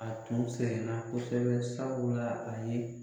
A tun sɛgɛnna kosɛbɛ sabula a ye